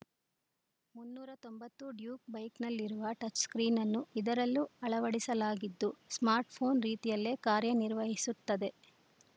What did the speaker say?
ಮುನ್ನೂರ ತೊಂಬತ್ತು ಡ್ಯೂಕ್‌ ಬೈಕ್‌ನಲ್ಲಿರುವ ಟಚ್‌ಸ್ಕ್ರೀನನ್ನು ಇದರಲ್ಲೂ ಅಳವಡಿಸಲಾಗಿದ್ದು ಸ್ಮಾರ್ಟ್‌ಫೋನ್‌ ರೀತಿಯಲ್ಲೇ ಕಾರ್ಯನಿರ್ವಹಿಸುತ್ತದೆ